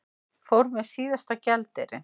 Fór með síðasta gjaldeyrinn